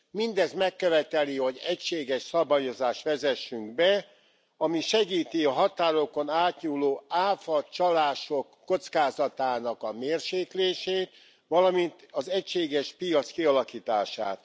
Mindez megköveteli, hogy egységes szabályozást vezessünk be, ami segíti a határokon átnyúló áfacsalások kockázatának a mérséklését, valamint az egységes piac kialakítását.